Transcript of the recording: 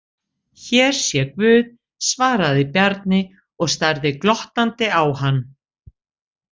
Hér sé guð, svaraði Bjarni og starði glottandi á hann.